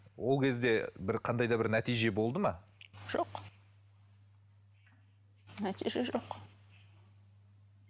ол кезде бір қандай да бір нәтиже болды ма жоқ нәтиже жоқ